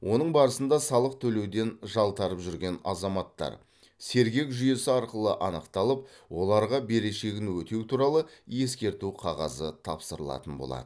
оның барысында салық төлеуден жалтарып жүрген азаматтар сергек жүйесі арқылы анықталып оларға берешегін өтеу туралы ескерту қағазы тапсырылатын болады